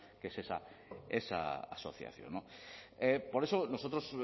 que es esa esa asociación por eso nosotros